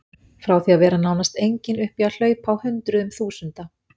Frá því að vera nánast engin upp í að hlaupa á hundruðum þúsunda.